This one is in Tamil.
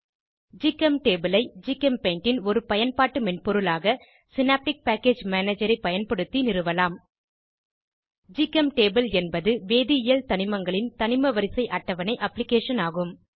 ஜிகெம்டேபுள் ஐ ஜிகெம்பெய்ண்ட் ன் ஒரு பயன்பாட்டு மென்பொருளாக சினாப்டிக் பேக்கேஜ் மேனஜர் ஐ பயன்படுத்தி நிறுவலாம் ஜிகெம்டேபுள் என்பது வேதியியல் தனிமங்களின் தனிமவரிசை அட்டவணை அப்ளிகேஷன் ஆகும்